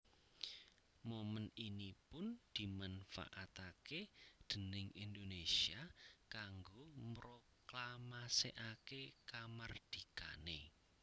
Momèn ini pun dimanfaataké déning Indonésia kanggo mroklamasèkaké kamardikané